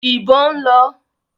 ìbọn ń lọ.